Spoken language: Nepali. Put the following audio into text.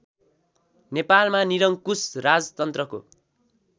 नेपालमा निरङ्कुश राजतन्त्रको